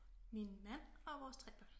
Min mand og vores 3 børn